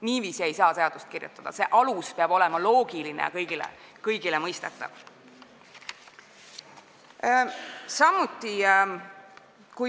Niiviisi ei saa seadust kirjutada – alus peab olema loogiline ja kõigile mõistetav.